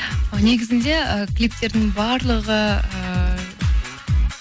негізінде ы клиптердің барлығы ыыы